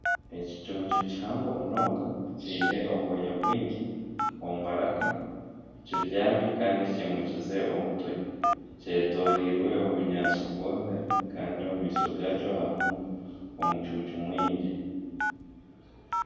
Ekicuncu kihango munonga kiine obwoya omu maraka kibyami kandi kimukiize omutwe kyetooreirwe obunyaatsi bwomire kandi omu maisho gakyo harimu omucuucu mwingi